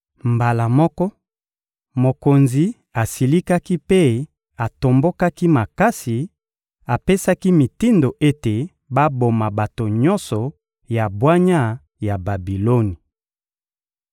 Mbala moko, mokonzi asilikaki mpe atombokaki makasi; apesaki mitindo ete baboma bato nyonso ya bwanya ya Babiloni.